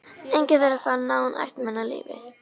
Enginn þeirra fann náin ættmenni á lífi.